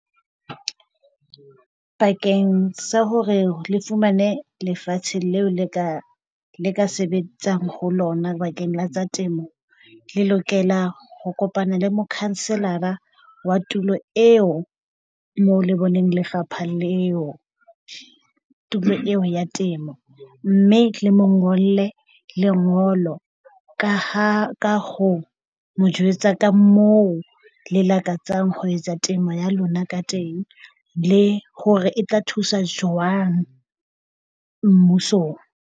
Bakeng sa hore le fumane lefatshe leo le ka sebetsang ho lona bakeng la tsa temo, le lokela ho kopana le mokhanselara wa tulo eo moo le boneng lefapha leo tulo eo ya temo. Mme le mo ngolle lengolo ka ha ho mo jwetsa ka moo le lakatsang ho etsa temo ya lona ka teng, le hore e tla thusa jwang mmusong.